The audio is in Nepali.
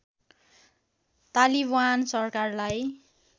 तालिबान सरकारलाई